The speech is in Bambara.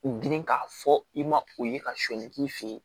U girin k'a fɔ i ma o ye ka sɔnni k'i fe yen